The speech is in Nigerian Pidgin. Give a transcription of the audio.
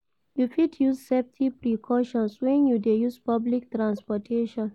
You fit use safety precautions when you dey use public transportation.